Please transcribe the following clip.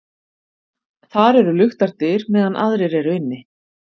Þar eru luktar dyr meðan aðrir eru inni.